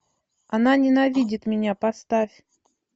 она ненавидит меня поставь